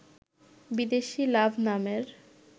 বিদেশি লাভ নামের